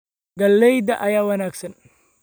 Galleyda ayaa wanaagsan.